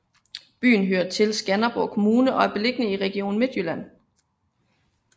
Byen hører til Skanderborg Kommune og er beliggende i Region Midtjylland